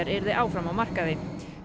yrði áfram á markaði